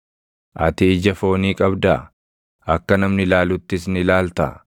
Ati ija foonii qabdaa? Akka namni ilaaluttis ni ilaaltaa?